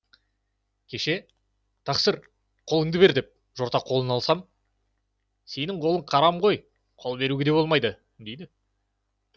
кеше тақсыр қолыңды бер деп жорта қолын алсам сенің қолың қарам ғой қол беруге де болмайды дейді